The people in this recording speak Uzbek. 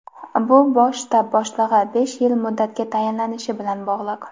bu Bosh shtab boshlig‘i besh yil muddatga tayinlanishi bilan bog‘liq.